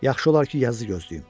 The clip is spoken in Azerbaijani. Yaxşı olar ki, yazı gözləyim.